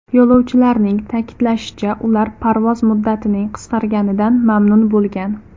Yo‘lovchilarning ta’kidlashicha, ular parvoz muddatining qisqarganidan mamnun bo‘lgan.